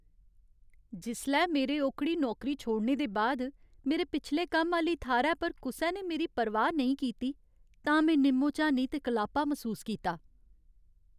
जिसलै मेरे ओह्कड़ी नौकरी छोड़ने दे बाद मेरे पिछले कम्म आह्‌ली थाह्रै पर कुसै ने मेरी परवाह् नेईं कीती तां में निम्मो झानी ते कलापा मसूस कीता।